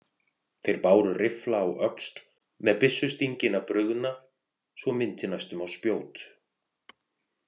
Þeir báru riffla á öxl með byssustingina brugðna svo minnti næstum á spjót.